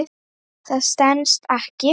Það stenst ekki.